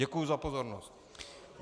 Děkuji za pozornost.